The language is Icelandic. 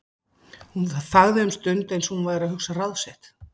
Hún þagði um stund, eins og hún væri að hugsa ráð sitt.